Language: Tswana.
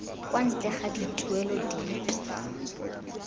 kwa ntle ga dituelo dipe